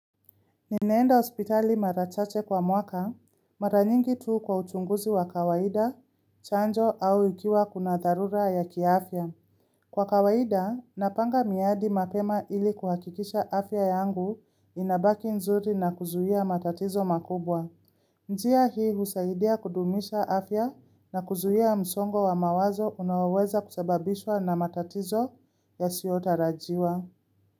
Nimeenda ospitali marachache kwa mwaka, maranyingi tu kwa uchunguzi wa kawaida, chanjo au ikiwa kuna darura ya kiafya. Kwa kawaida, napanga miadi mapema ili kuhakikisha afya yangu inabaki nzuri na kuzuia matatizo makubwa. Njia hii husaidia kudumisha afya na kuzuia msongo wa mawazo unaweza kusababishwa na matatizo yasiotarajiwa.